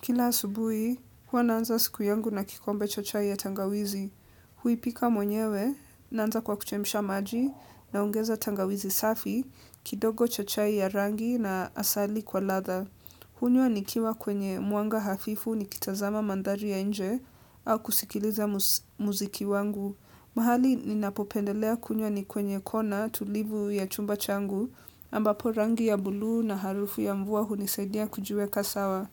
Kila asubuhi, huwa naanza siku yangu na kikombe cha chai ya tangawizi. Huipika mwenyewe naanza kwa kuchemsha maji naongeza tangawizi safi, kidogo cha chai ya rangi na asali kwa ladha. Hunywa nikiwa kwenye mwanga hafifu nikitazama mandhari ya nje au kusikiliza muziki wangu. Mahali ninapopendelea kunywa ni kwenye kona tulivu ya chumba changu ambapo rangi ya buluu na harufu ya mvua hunisaidia kujiweka sawa.